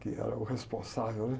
Que era o responsável, né?